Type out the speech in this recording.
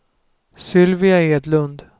Sylvia Edlund